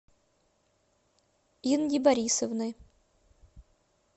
инги борисовны